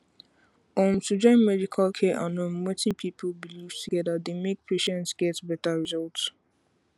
um to join medical care and um wetin people believe together dey make patients get better results